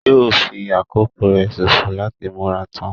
Yóò fi àkókò rẹ sòfò láti múra tán.